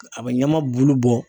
A bɛ ɲama bulu bɔ